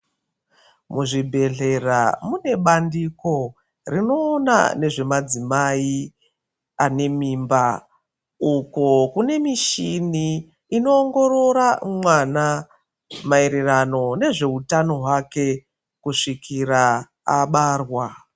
Muzvibhehlera munebandiko rinoona nezvemadzimai ane mimba uko kune mishini inoongorora mwana maererano nezveutano hwake kusvikira abarwa.